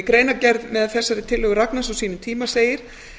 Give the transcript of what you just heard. í greinargerð með þessari tillögu ragnars á sínum tíma segir